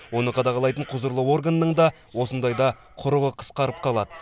оны қадағалайтын құзырлы органның да осындайда құрығы қысқарып қалады